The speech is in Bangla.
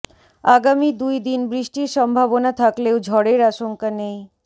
আগামী দুই দিন বৃষ্টির সম্ভাবনা থাকলেও ঝড়ের আশঙ্কা নেই